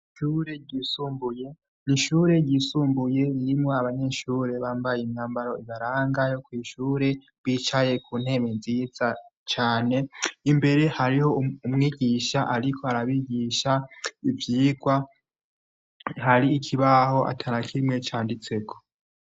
Ishure ryisumbuye ni ishure ryisumbuye irimwo abanyeshure bambaye imwambaro ibaranga yo kw'ishure rwicaye ku ntemu nziza cane imbere hariho umwigisha, ariko arabigisha ivyirwa hari ikibaho ata na kimwe canditseko.